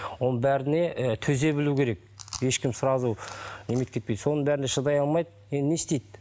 оның бәріне і төзе білу керек ешкім сразу соның бәріне шыдай алмайды енді не істейді